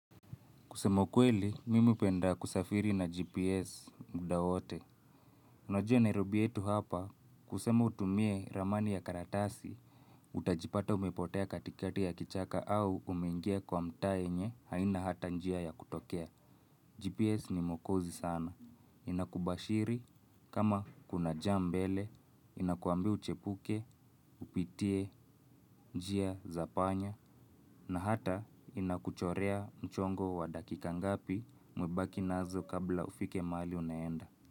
Kusema ukweli, mimi upenda kusafiri na GPS mda wote. Unajua nairobi yetu hapa, kusema utumie ramani ya karatasi, utajipata umepotea katikati ya kichaka au umengia kwa mtaa yenye, haina hata njia ya kutokea. GPS ni mokozi sana. Inakubashiri, kama kuna jam mbele, inakwambia uchepuke, upitie, njia, zapanya, na hata inakuchorea mchongo wa dakika ngapi mwebaki nazo kabla ufike maali unaenda.